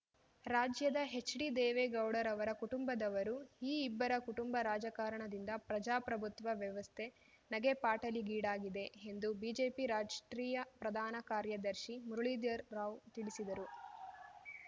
ರಾಜ್ಯದ ಹೆಚ್ಡಿ ದೇವೇಗೌಡರವರ ಕುಟುಂಬದವರು ಈ ಇಬ್ಬರ ಕುಟುಂಬ ರಾಜಕಾರಣದಿಂದ ಪ್ರಜಾಪ್ರಭುತ್ವ ವ್ಯವಸ್ಥೆ ನಗೆಪಾಟೀಲಿಗೀಡಾಗಿದೆ ಎಂದು ಬಿಜೆಪಿ ರಾಷ್ಟ್ರೀಯ ಪ್ರಧಾನ ಕಾರ್ಯದರ್ಶಿ ಮುರಳೀಧರ್ ರಾವ್ ತಿಳಿಸಿದರು